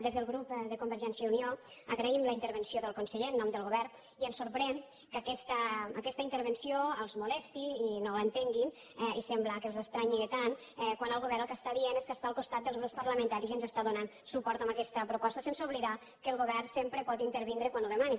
des del grup de convergència i unió agraïm la intervenció del conseller en nom del govern i ens sorprèn que aquesta intervenció els molesti i no l’entenguin i sembla que els estranyi tant quan el govern el que diu és que és al costat dels grups parlamentaris i ens dóna suport amb aquesta proposta sense oblidar que el govern sempre pot intervenir quan ho demani